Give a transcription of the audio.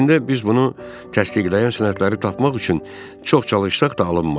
Əslində biz bunu təsdiqləyən sənədləri tapmaq üçün çox çalışsaq da alınmadı.